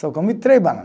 Só comi três banana.